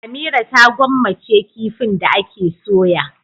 Amira ta gwammace kifin da ake soya.